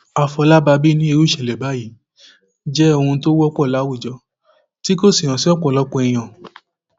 àfọlábàbí ní irú ìṣẹlẹ báyìí jẹ ohun tó wọpọ láwùjọ tí kò hàn sí ọpọlọpọ èèyàn